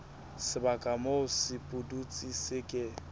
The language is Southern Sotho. sebaka moo sepudutsi se ke